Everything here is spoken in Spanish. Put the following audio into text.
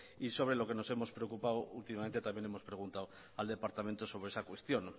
y sobre lo que nos hemos preocupado últimamente también hemos preguntado al departamento sobre esa cuestión